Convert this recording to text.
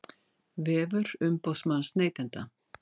Vefur umboðsmanns neytenda